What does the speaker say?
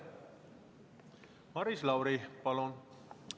Maris Lauri, palun!